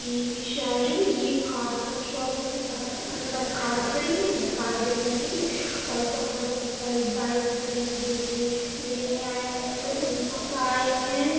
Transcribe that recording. ये भी शायद ये कार का शोरूम हैं जहाँ अंदर कार खड़ी हुई हैं कार बिकने के लिए और बाहर बहुत सारी बाइक खड़ी हैं जो कि लेने आये होंगे उनकी बाइक हैं।